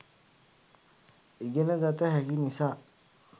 ඉගෙන ගත හැකි නිසා